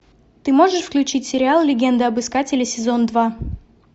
ты можешь включить сериал легенда об искателе сезон два